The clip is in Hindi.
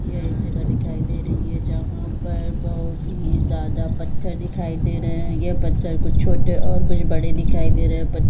यह एक जगह दिखाई दे रही है जहाँ पर बहोत ही ज्यादा पत्थर दिखाई दे रहे है यह पत्थर कुछ छोटे और कुछ बड़े दिखाई दे रहे है प--